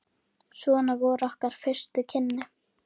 Svona voru okkar fyrstu kynni.